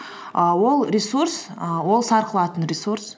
і ол ресурс і ол сарқылатын ресурс